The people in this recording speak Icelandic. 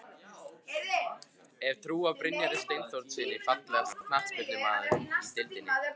Hef trú á Brynjari Steinþórssyni Fallegasti knattspyrnumaðurinn í deildinni?